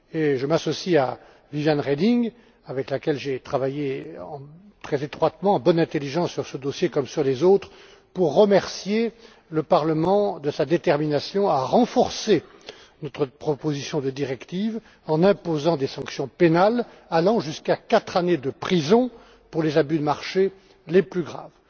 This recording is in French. Je m'associe à Viviane Reding, avec laquelle j'ai travaillé très étroitement et en bonne intelligence sur ce dossier comme sur les autres, pour remercier le Parlement de sa détermination à renforcer notre proposition de directive, en imposant des sanctions pénales allant jusqu'à quatre années de prison pour les abus de marché les plus graves.